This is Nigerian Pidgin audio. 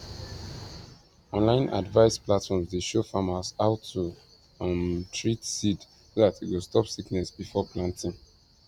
online advice platforms dey show farmers how to um treat seed so that e go stop sickness before planting